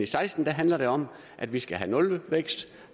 seksten handler det om at vi skal have nulvækst